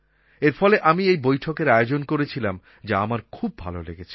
এর ফলে আমি এই বৈঠকের আয়োজন করেছিলাম যা আমার খুব ভালো লেগেছে